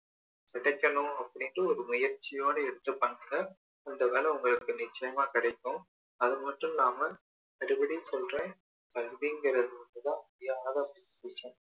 கிடைக்கணும் அப்படின்னு இரு முயற்ச்சியோட எடுத்து பண்ற அந்த வேலை உங்களுக்கு நிச்சயமா கிடைக்கும் அது மட்டும் இல்லாம அடிக்கடி சொல்றேன் கல்விங்கறது தான் அழியாத ஒன்னு